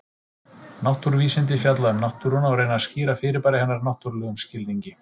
Náttúruvísindi fjalla um náttúruna og reyna að skýra fyrirbæri hennar náttúrlegum skilningi.